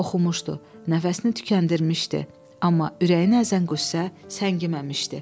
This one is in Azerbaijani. Oxumuşdu, nəfəsini tükəndirmişdi, amma ürəyini əzən qüssə səngiməmişdi.